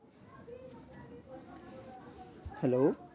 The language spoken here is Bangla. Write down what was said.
Hello